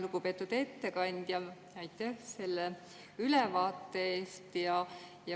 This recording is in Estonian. Lugupeetud ettekandja, aitäh selle ülevaate eest!